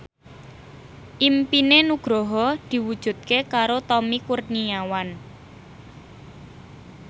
impine Nugroho diwujudke karo Tommy Kurniawan